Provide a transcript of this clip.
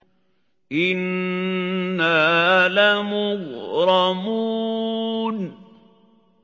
إِنَّا لَمُغْرَمُونَ